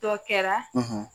Dɔ kɛra